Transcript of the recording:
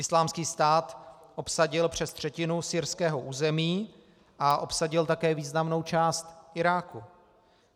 Islámský stát obsadil přes třetinu syrského území a obsadil také významnou část Iráku.